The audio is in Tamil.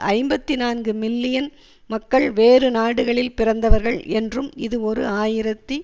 ஐம்பத்தி நான்கு மில்லியன் மக்கள் வேறுநாடுகளில் பிறந்தவர்கள் என்றும் இது ஓரூ ஆயிரத்தி